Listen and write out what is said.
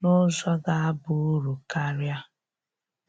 n'ụzọ ga-aba uru karia.